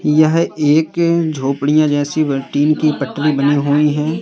यह एक झोपड़ियां जैसी टीन की पटरी बनी हुई हैं।